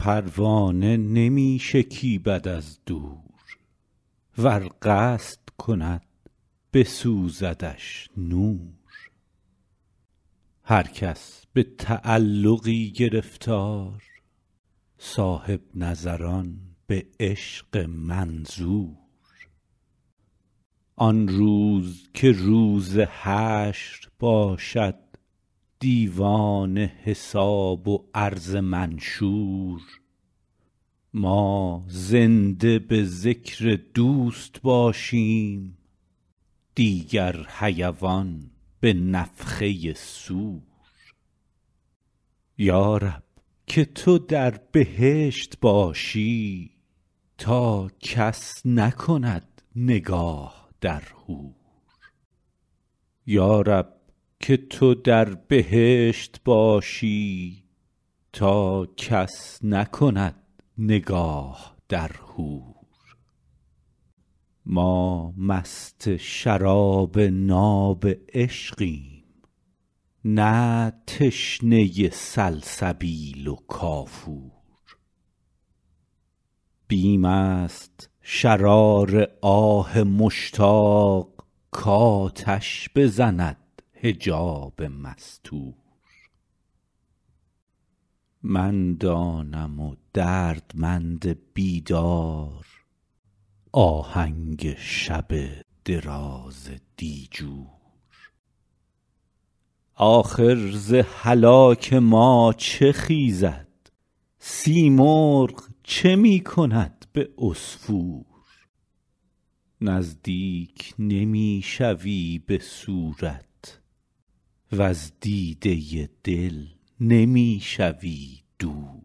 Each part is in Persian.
پروانه نمی شکیبد از دور ور قصد کند بسوزدش نور هر کس به تعلقی گرفتار صاحب نظران به عشق منظور آن روز که روز حشر باشد دیوان حساب و عرض منشور ما زنده به ذکر دوست باشیم دیگر حیوان به نفخه صور یا رب که تو در بهشت باشی تا کس نکند نگاه در حور ما مست شراب ناب عشقیم نه تشنه سلسبیل و کافور بیم است شرار آه مشتاق کآتش بزند حجاب مستور من دانم و دردمند بیدار آهنگ شب دراز دیجور آخر ز هلاک ما چه خیزد سیمرغ چه می کند به عصفور نزدیک نمی شوی به صورت وز دیده دل نمی شوی دور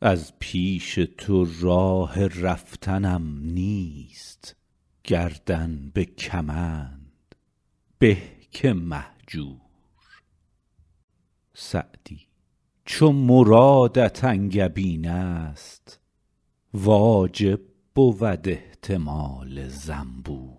از پیش تو راه رفتنم نیست گردن به کمند به که مهجور سعدی چو مرادت انگبین است واجب بود احتمال زنبور